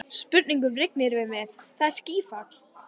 Spurningum rignir yfir mig, það er skýfall.